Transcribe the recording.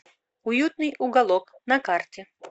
уютный уголок на карте